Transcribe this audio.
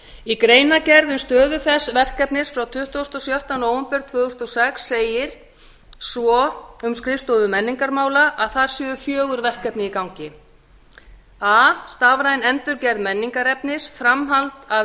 í greinargerð um stöðu þess verkefnis frá tuttugasta og sjötta nóvember tvö þúsund og sex segir svo um skrifstofu menningarmála að þar séu fjögur verkefni í gangi a stafræn endurgerð menningarefnis framhald af